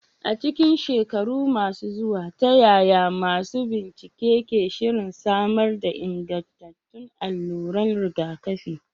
A cikin shekaru masu zuwa, ta yaya masu bincike ke shirin samar da ingantattun alluran rigakafi?